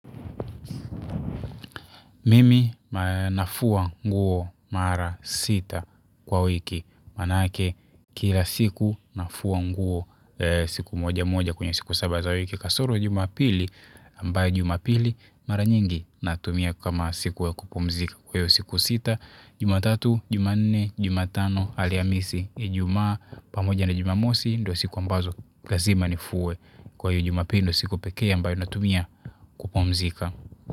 Mimi nafua nguo mara sita kwa wiki. Manake kila siku nafua nguo siku moja moja kwenye siku saba za wiki kasoro Jumapili ambayo Jumapili mara nyingi natumia kama siku ya kupumzika kwa hiyo siku sita, Jumatatu, jumane, Jumatano Alhamisi Ijumaa pamoja na Jumamosi ndio siku ambazo lazima nifue kwa hiyo Jumapili ndio siku pekee ambayo natumia kupumzika.